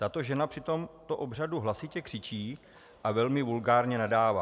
Tato žena při tomto obřadu hlasitě křičí a velmi vulgárně nadává.